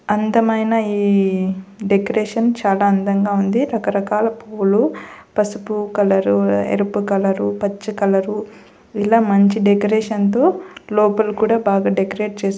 అందమైన ఈ డెకరేషన్ చాలా అందంగా ఉంది రకరకాల పూలు పసుపు కలరు ఎరుపు కలరు పచ్చ కలరు ఇలా మంచి డెకరేషన్తో లోపల కూడా బాగా డెకరేట్ చేశారు.